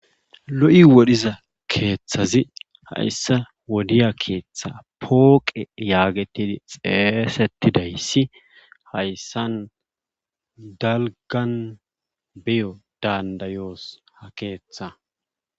Lo7i wodhiza keethazi hayssa wodiya keetha pooqe yaagettidi xeesettidayssi issi hayssan dalggan beyo danddayoos ha keetha.